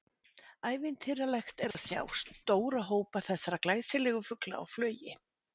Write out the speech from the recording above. Ævintýralegt er að sjá stóra hópa þessara glæsilegu fugla á flugi.